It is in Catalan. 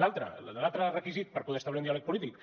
l’altre l’altre requisit per poder establir un diàleg polític